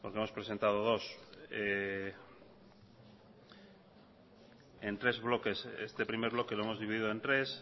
porque hemos presentado dos en tres bloques este primer bloque lo hemos dividido en tres